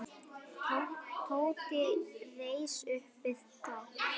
Tóti reis upp við dogg.